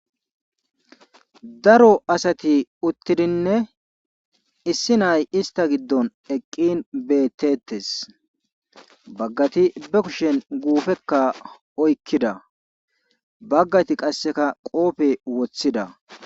Daro asati uttidinne issi naay istta giddon eqqin beetteettees baggati be kushen guufekka oykkida baggati qassika qoofe wothida.